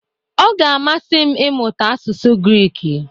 Ọ ga-amasị m ịmụta asụsụ Griiki.